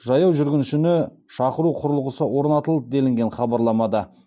жаяу жүргіншіні шақыру құрылғысы орнатылды делінген хабарламада